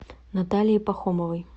наталией пахомовой